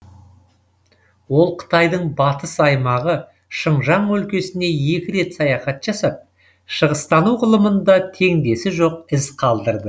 ол қытайдың батыс аймағы шыңжаң өлкесіне екі рет саяхат жасап шығыстану ғылымында теңдесі жоқ із қалдырды